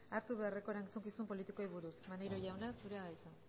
hartu beharreko erantzukizun politikoei buruz maneiro jauna zurea da hitza